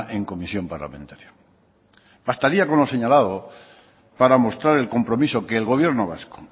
en comisión parlamentaria bastaría con lo señalado para mostrar el compromiso que el gobierno vasco